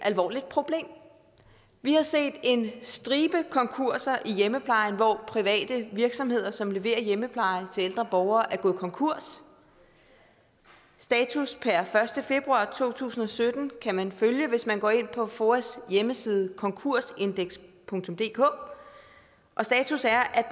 alvorligt problem vi har set en stribe konkurser i hjemmeplejen hvor private virksomheder som leverer hjemmepleje til ældre borgere er gået konkurs status per første februar to tusind og sytten kan man følge hvis man går ind på foas hjemmeside konkursindexdk og status er at